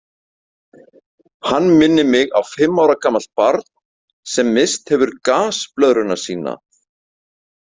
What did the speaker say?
Hann minnir mig á fimm ára gamalt barn sem hefur misst gasblöðruna sína.